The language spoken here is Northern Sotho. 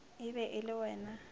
e be e le wena